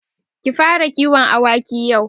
Ki fara kiwon awaki yau.